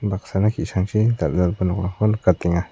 baksana ki·sangchi dal·dalgipa nokrangko nikatenga.